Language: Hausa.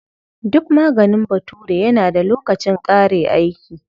Duk maganin Bature yana da lokacin ƙare aiki.